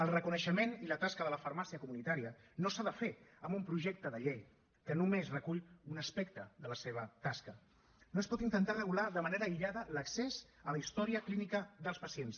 el reconeixement i la tasca de la farmàcia comunitària no s’ha de fer amb un projecte de llei que només recull un aspecte de la seva tasca no es pot intentar regular de manera aïllada l’accés a la història clínica dels pacients